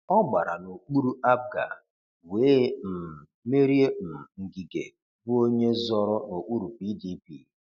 Ọ gbara n'okpuru APGA wee um merie um Ngige bụ onye zọọrọ n'okpuru PDP.